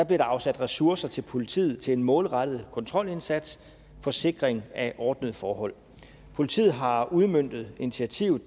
der afsat ressourcer til politiet til en målrettet kontrolindsats for sikring af ordnede forhold politiet har udmøntet initiativet